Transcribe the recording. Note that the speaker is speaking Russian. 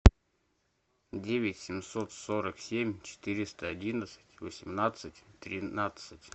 девять семьсот сорок семь четыреста одиннадцать восемнадцать тринадцать